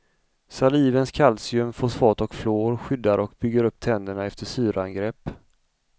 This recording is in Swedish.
Salivens kalcium, fosfat och fluor skyddar och bygger upp tänderna efter syraangrepp.